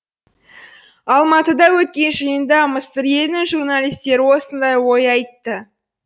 алматыда өткен жиында мысыр елінің журналистері осындай ой айтты